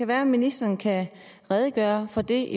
være at ministeren kan redegøre for det